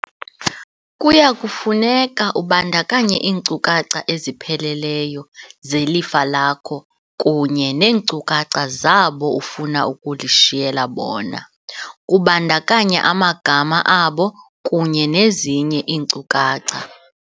Kuya kufuneka ubandakanye iinkcukacha ezipheleleyo zelifa lakho kunye neenkcukacha zabo ufuna ukulishiyela bona, kubandakanya amagama abo kunye nezinye iinkcukacha.